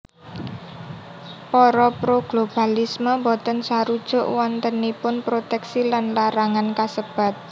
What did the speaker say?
Para pro globalisme boten sarujuk wontenipun protèksi lan larangan kasebat